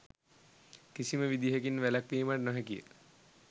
කිසිම විදිහකින් වැලැක්වීමට නොහැකිය